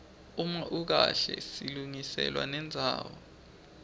uma ukahle silungiselwa nendzawo